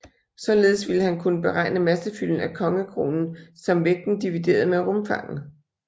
Således ville han kunne beregne massefylden af kongekronen som vægten divideret med rumfanget